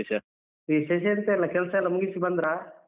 ವಿಶೇಷ ಎಂತ ಇಲ್ಲ ಕೆಲ್ಸಯೆಲ್ಲ ಮುಗಿಸಿ ಬಂದ್ರಾ?